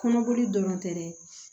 Kɔnɔboli dɔrɔn tɛ dɛ